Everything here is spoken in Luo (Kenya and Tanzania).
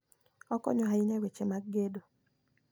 Okonyo ahinya e weche mag gedo.